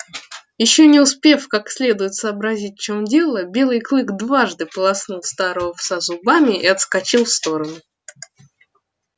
ещё не успев как следует сообразить в чем дело белый клык дважды полоснул старого пса зубами и отскочил в сторону